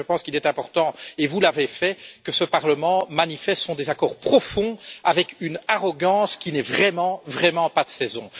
En effet, je pense qu'il est important comme vous l'avez fait que ce Parlement manifeste son désaccord profond avec une arrogance qui n'est vraiment pas de saison.